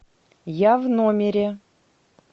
я в номере